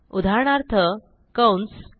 उदाहरणार्थ कंस